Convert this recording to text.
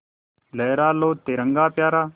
लहरा लो तिरंगा प्यारा